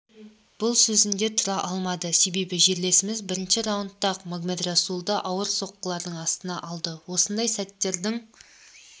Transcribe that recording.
бұл сөзінде тұра алмады себебі жерлесіміз бірінші раундтан-ақ магомедрасулды ауыр соққылардың астына алды осындай сәттердің